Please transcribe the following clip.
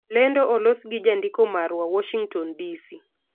Lendo olos gi jandiko marwa, Warshington, DC